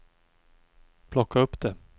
plocka upp det